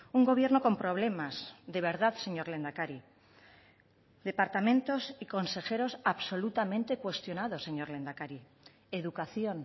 un gobierno con problemas de verdad señor lehendakari departamentos y consejeros absolutamente cuestionados señor lehendakari educación